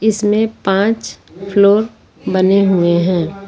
इसमें पांच फ्लोर बने हुए हैं।